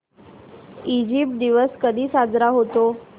Egypt दिवस कधी साजरा होतो